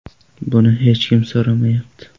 Buni hech kim so‘ramayapti.